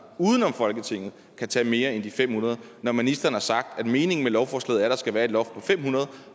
uden om folketinget kan tage mere end de fem hundrede når ministeren har sagt at meningen med lovforslaget er at der skal være et loft på fem hundrede